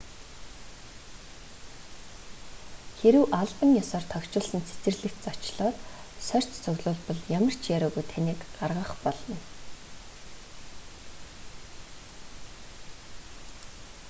хэрэв албан ёсоор тохижуулсан цэцэрлэгт зочлоод сорьц цуглуулбал ямар ч яриагүй таныг гаргах болно